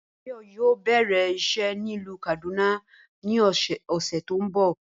Báyò̩ yóò bè̩rè̩ is̩é̩ nílùú Kàdúná ni ò̩sè̩ tó ń bò̩